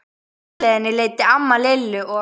Á heimleiðinni leiddi amma Lillu og